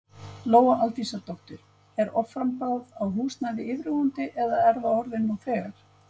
Lóa Aldísardóttir: Er offramboð á húsnæði yfirvofandi eða er það orðið nú þegar?